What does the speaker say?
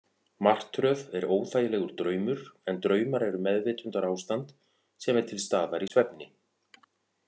Martröð er óþægilegur draumur, en draumar eru meðvitundarástand sem er til staðar í svefni.